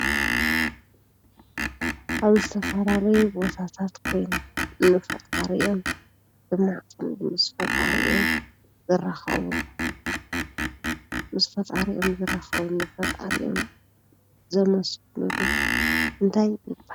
አብ ዝተፈላለዩ ቦታታት ኮይኖም ንፈጣሪኦም ዘመስግንሉ፣ ምስ ፈጣሪኦም ዝራከብሉ፣ ፈጣሪኦም ዘመስግንሉ እንታይ ይበሃል?